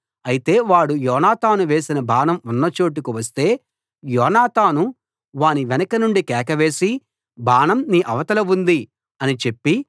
అయితే వాడు యోనాతాను వేసిన బాణం ఉన్నచోటుకు వస్తే యోనాతాను వాని వెనుక నుండి కేక వేసి బాణం నీ అవతల ఉంది అని చెప్పి